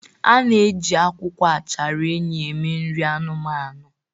A na-eji akwụkwọ achara enyí eme nri anụmanụ.